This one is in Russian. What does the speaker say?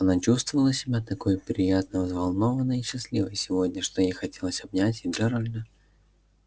она чувствовала себя такой приятно взволнованной и счастливой сегодня что ей хотелось обнять и джералда